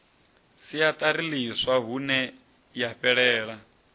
siaṱari ḽiswa hune ya fhelela